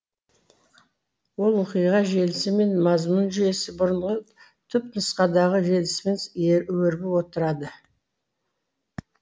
ол оқиға желісі мен мазмұн жүйесі бұрынғы түпнұсқадағы желісімен өрбіп отырады